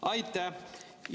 Aitäh!